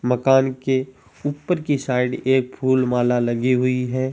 मकान के ऊपर की साइड एक फुल माला लगी हुई है।